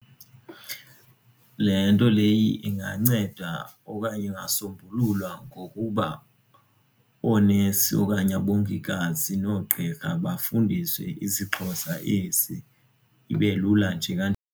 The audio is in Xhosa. Le nto le inganceda okanye ingasombululwa ngokuba oonesi okanye abongikazi noogqirha bafundiswe isiXhosa esi, ibe lula nje kanjalo.